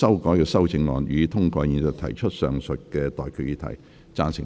我現在向各位提出上述待決議題。